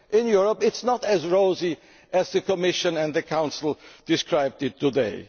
In Europe it is not as rosy as the Commission and the Council described it today.